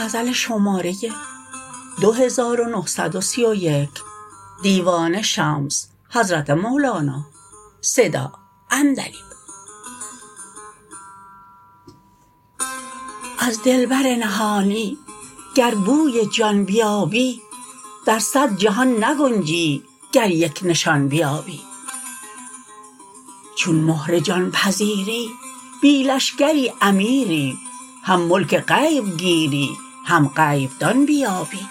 از دلبر نهانی گر بوی جان بیابی در صد جهان نگنجی گر یک نشان بیابی چون مهر جان پذیری بی لشکری امیری هم ملک غیب گیری هم غیب دان بیابی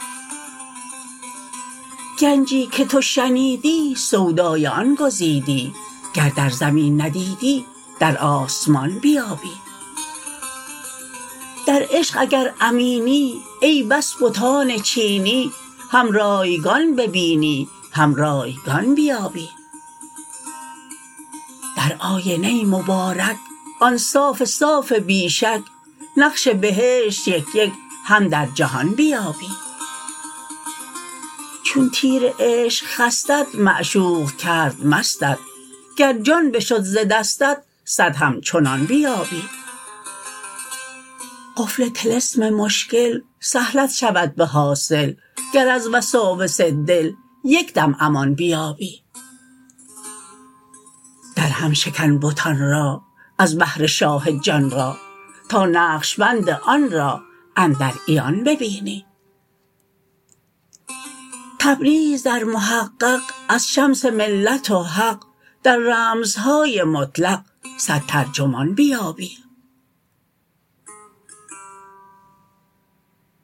گنجی که تو شنیدی سودای آن گزیدی گر در زمین ندیدی در آسمان بیابی در عشق اگر امینی ای بس بتان چینی هم رایگان ببینی هم رایگان بیابی در آینه مبارک آن صاف صاف بی شک نقش بهشت یک یک هم در جهان بیابی چون تیر عشق خستت معشوق کرد مستت گر جان بشد ز دستت صد همچنان بیابی قفل طلسم مشکل سهلت شود به حاصل گر از وساوس دل یک دم امان بیابی درهم شکن بتان را از بهر شاه جان را تا نقش بند آن را اندر عیان بیابی تبریز در محقق از شمس ملت و حق در رمزهای مطلق صد ترجمان بیابی